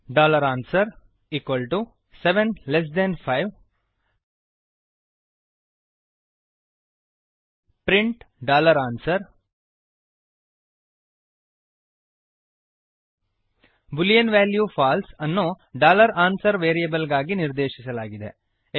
answer 75 print answer boolean value false ಅನ್ನು answer variable ಗಾಗಿ ನಿರ್ದೇಶಿಸಲಾಗಿದೆ